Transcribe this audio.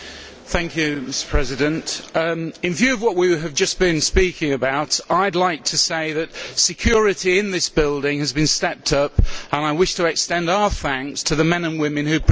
Mr President, in view of what we have just been speaking about, I would like to say that security in this building has been stepped up and I wish to extend our thanks to the men and women who protect us.